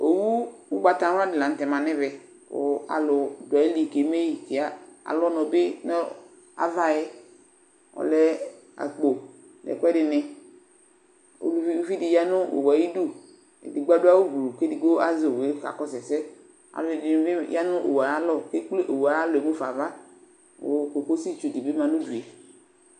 Owu ʋgbatawlanɩ la nʋ tɛ ma nʋ ɛvɛ, kʋ alʋ dʋ ayili kʋ eme yɩ tɩa, alʋ ɔnʋ bɩ nʋ ava yɛ, ɔlɛ akpo nʋ ɛkʋ ɛdɩnɩ, uvidɩ ya nʋ owu yɛ ayʋ idu, edigbo adʋ awʋ gblu kʋ edigbo azɛ owu yɛ kakɔsʋ ɛsɛ, alʋ ɛdɩnɩ bɩ ya nʋ owu yɛ alɔ, kʋ ekple owu yɛ ayʋ alɔ yɛ mu fa nʋ ava, kʋ kokositsu dɩ bɩ ma nʋ udu yɛ